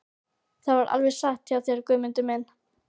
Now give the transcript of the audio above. Það er alveg satt hjá þér Guðmundur minn.